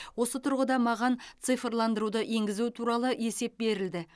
осы тұрғыда маған цифрландыруды енгізу туралы есеп берілді